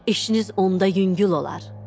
İşiniz onda yüngül olar.